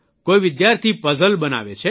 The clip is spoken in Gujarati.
કોઇ વિદ્યાર્થી puzzleપઝલ બનાવે છે